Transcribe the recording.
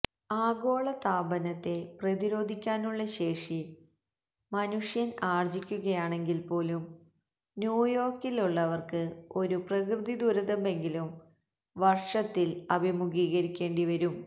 ആഗോളതാപനത്തെ പ്രതിരോധിക്കാനുള്ള ശേഷി മനുഷ്യന് ആര്ജ്ജിക്കുകയാണെങ്കില് പോലും ന്യൂയോര്ക്കിലുള്ളവര്ക്ക് ഒരു പ്രകൃതി ദുരന്തമെങ്കിലും വര്ഷത്തില് അഭിമുഖീകരിക്കേണ്ടി വരും